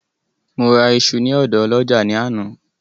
Mo ra iṣu ní ọ̀dọ ọlọ́jà ní àná